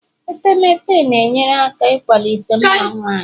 etemeete na-enyere aka ịkwalite mma nwanyị